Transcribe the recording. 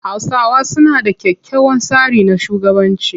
Hausawa suna da kyakkyawan tsari na shugabanci.